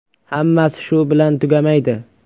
Hammasi shu bilan tugamaydi!